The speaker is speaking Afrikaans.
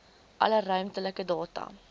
alle ruimtelike data